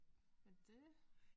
Men det